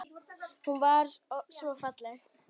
Hún var svo falleg.